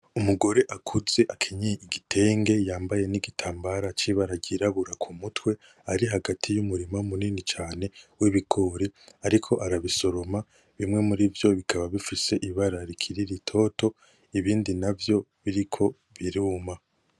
Umugore akuze akenyeye igitenge yambaye nigitambara kibara ryirabura kumutwe ari hagati yumurima munini cane w'ibigori ariko arabisoroma bimwe murivyo bikaba bifise ibara rikiri ritoto ibindi navyo biriko biruma.